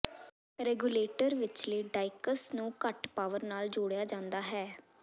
regulator ਵਿਚਲੇ diacs ਨੂੰ ਘੱਟ ਪਾਵਰ ਨਾਲ ਜੋੜਿਆ ਜਾਂਦਾ ਹੈ